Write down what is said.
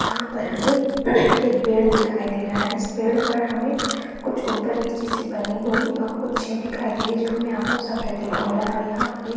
यहाँ पर हमें एक पेड़ दिखाई दे रहा है इस पेड़ पर हमें कुछ ऊपर- नीचे सी बनी हुई कुछ चीज़ दिखाई दे रही है जो हमें आँखों सा प्रतीत हो रहा है और यहाँ पर एक--